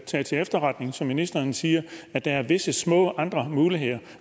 taget til efterretning som ministeren siger at der er visse små andre muligheder